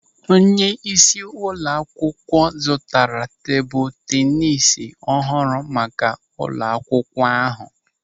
Onyeisi ụlọ akwụkwọ zụtara tebụl tenis ọhụrụ maka ụlọ akwụkwọ ahụ.